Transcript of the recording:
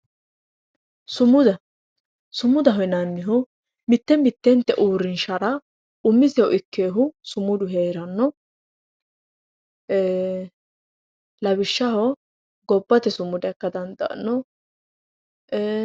Sumuda sumudaho yinanihu mitte mittente uurrinshara umisehu ikkeewohu sumudu heeranno lawishshaho gobbate sumuda ikka dandaanno.